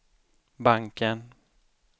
banken